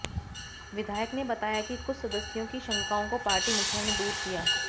विधायक ने बताया कि कुछ सदस्यों की शंकाओं को पार्टी मुखिया ने दूर किया